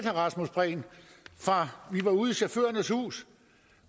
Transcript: rasmus prehn vi var ude i chaufførernes hus